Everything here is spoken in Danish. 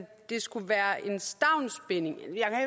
stavnsbinde